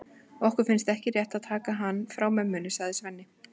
Okkur finnst ekki rétt að taka hann frá mömmunni, sagði Svenni.